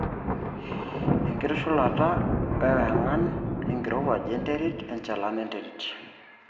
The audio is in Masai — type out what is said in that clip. enkitushulata e wangan, enkiruaj enterit, enchalan enterit